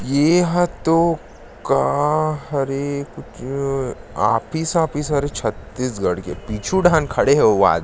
ये हतो का हरे कुछ ऑफिस वाफ़िस हरे छत्तीसगड़ के पीछू डाहर खड़े हे ओ आद--